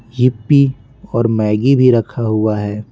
Yuppie और Maggi भी रखा हुआ है।